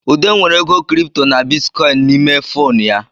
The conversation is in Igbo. Ude nwere ego Kịrịpụtọ na bịtịkọyịnị n'ime fonu ya